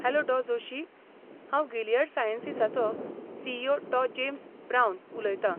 Hello डॉ. जोशी. हांव Gilead सायंसीसाचो सी.ई.ओ. डॉ. जेम्स ब्रावन उलयतां.